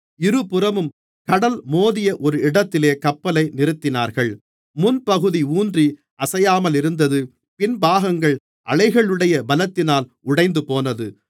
இருபுறமும் கடல் மோதிய ஒரு இடத்திலே கப்பலை நிறுத்தினார்கள் முன்பகுதி ஊன்றி அசையாமலிருந்தது பின் பாகங்கள் அலைகளுடைய பலத்தினால் உடைந்துபோனது